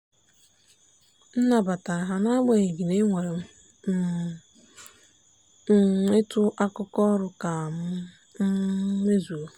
m nabatara ha n'agbanyeghị na enwere um m ịtụ akụkụ ọrụ ka m um mezuo.